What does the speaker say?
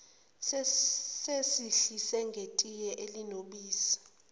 sisehlise ngetiye elinobisi